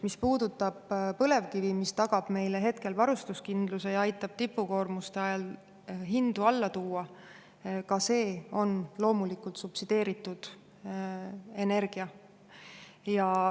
Mis puudutab põlevkivi, mis tagab meile hetkel varustuskindluse ja aitab tipukoormuste ajal hindu alla tuua: ka see on loomulikult subsideeritud energia.